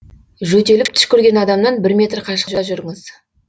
жөтеліп түшкірген адамнан бір метр қашықта жүріңіз